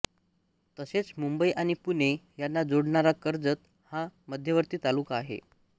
तसेच मुंबई आणि पुणे यांना जोडणारा कर्जत हा मध्यवर्ती तालुका आहे